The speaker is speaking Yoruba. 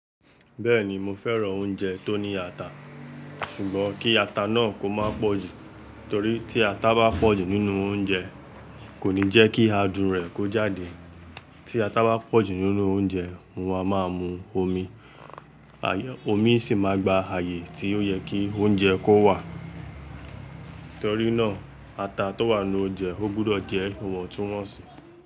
Bẹ́ẹ̀ni mo fẹ́ran oúnjẹ tó ní ata, ṣùgbọ́n kí ata náà kó má pòjù torí tí ata bá pòjù nínú oúnjẹ kò ní jẹ́ kí adùn rẹ̀ kó jáde. Tí ata bá pòjù nínú oúnjẹ, mo ma maa mú omi, omi sì máa gba ààyè tí ó yẹ kí oúnjẹ kó wà. Nítorí náà ata tó wà n nu oúnjẹ ó gbọdọ̀ jẹ́ iwọ̀ntúnwọ̀nsì.